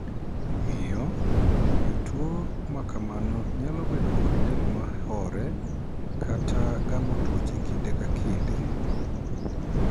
Omiyo, jotuo ma kamano nyalo bedo kod del ma horee kata gamo tuoche kinde ka kinde.